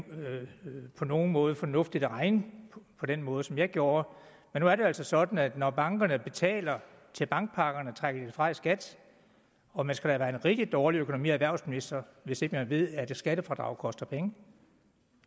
på nogen måde var fornuftigt at regne på den måde som jeg gjorde men nu er det altså sådan at når bankerne betaler til bankpakkerne så trækker de det fra i skat og man skal da være en rigtig dårlig økonomi og erhvervsminister hvis ikke man ved at skattefradrag koster penge